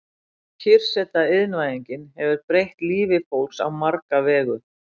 Kyrrseta Iðnvæðingin hefur breytt lífi fólks á marga vegu.